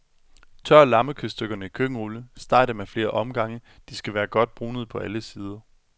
Tør lammekødstykkerne i køkkenrulle, steg dem af flere omgange,, de skal være godt brunede på alle sider.